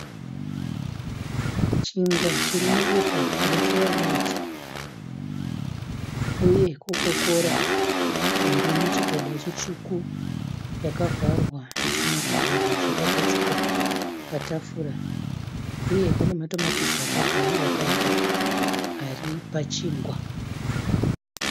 Chingwa chiri mupepa rekeya raiti. Uye "Coca Cola" iri muchigaba chitsvuku yakavharwa isina kuvhurwa. Zvakagadzikwa patafura. Uye pane matomatisi akagaiwa gaiwa ari pachingwa.